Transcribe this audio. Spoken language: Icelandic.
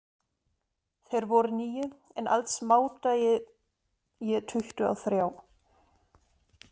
Þeir voru níu, en alls mátaði ég tuttugu og þrjá.